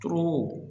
To